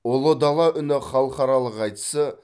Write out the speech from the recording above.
ұлы дала үні халықаралық айтысы